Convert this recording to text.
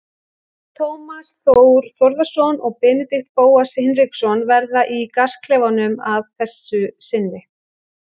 Tómas Þór Þórðarson og Benedikt Bóas Hinriksson verða í gasklefanum að þessu sinni.